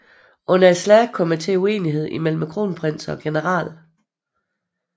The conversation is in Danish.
Under slaget kom det til uenighed mellem kronprinsen og generalen